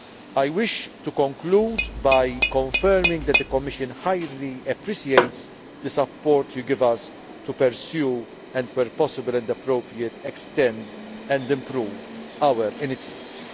I wish to conclude by confirming that the Commission highly appreciates the support Parliament gives us to pursue and, where possible and appropriate, extend and improve our initiatives.